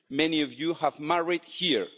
Many of you have married here.